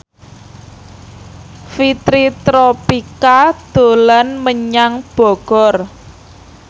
Fitri Tropika dolan menyang Bogor